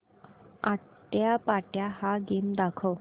आट्यापाट्या हा गेम दाखव